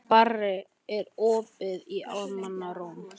Barri, er opið í Almannaróm?